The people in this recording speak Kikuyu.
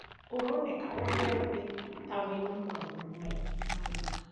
Ũroneka ũmũthĩ tawĩna maũndũ maingĩ magwĩka